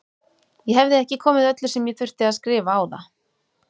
Ég hefði ekki komið öllu sem ég þurfti að skrifa á það.